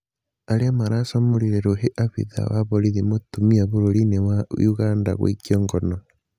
Arĩa maracamũrire rũhĩ abithaa wa borithi mũtumia bũrũri-inĩ wa Uganda gũikio ngono